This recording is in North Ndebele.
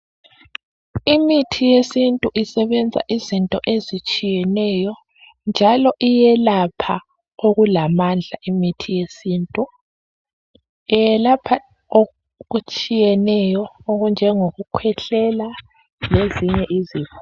Imithi yesintu isebenza izinto ezitshiyeneyo njalo iyelapha oku lamandla imithi yesintu iyelapha okutshiyeneyo okunjengokukhwehlela lezinye izifo